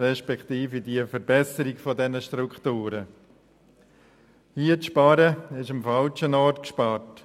An dieser Stelle zu sparen, ist am falschen Ort gespart.